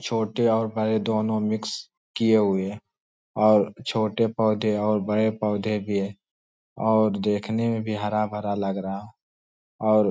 छोटे और बड़े दोनों मिक्स किए हुए हैं और छोटे पौद्ये और बड़े पौद्ये भी है और देखने में भी हरा भरा लग रहा है और --